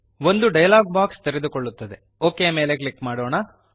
ಸಂಭಾಷಣೆಯ ಒಂದು ಪೆಟ್ಟಿಗೆ ತೆರೆದುಕೊಳ್ಳುತ್ತದೆ OKಮೇಲೆ ಕ್ಲಿಕ್ ಮಾಡೋಣ